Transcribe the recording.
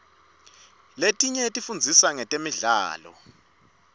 letinye tifundzisa ngetemidlao